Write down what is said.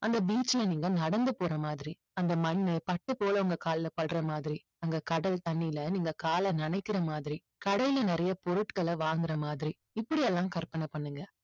அந்த beach ல நீங்க நடந்து போற மாதிரி, அந்த மண்ணு பட்டு போல உங்க கால்ல படற மாதிரி, அங்க கடல் தண்ணீல உங்க காலை நனைக்கிற மாதிரி, கடையில நிறைய பொருட்களை வாங்குற மாதிரி இப்படி எல்லாம் கற்பனை பண்ணுங்க.